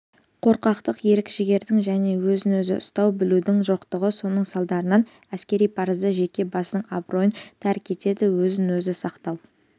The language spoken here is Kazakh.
қорқақтық ерік-жігердің және өзін-өзі ұстай білудің жоқтығы соның салдарынан әскери парызды жеке басының абыройын тәрк етеді өзін-өзі сақтау